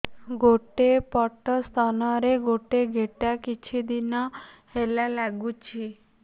ଗୋଟେ ପଟ ସ୍ତନ ରେ ଗୋଟେ ଗେଟା କିଛି ଦିନ ହେଲା ଲାଗୁଛି